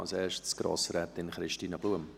zuerst Grossrätin Christine Blum.